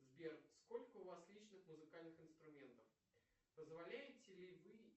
сбер сколько у вас личных музыкальных инструментов позволяете ли вы